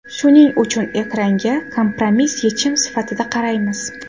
Shuning uchun ekranga kompromiss yechim sifatida qaraymiz.